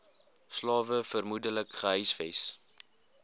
slawe vermoedelik gehuisves